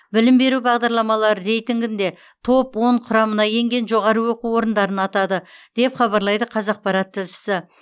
білім беру бағдарламалары рейтингінде топ он құрамына енген жоғары оқу орындарын атады деп хабарлайды қазақпарат тілшісі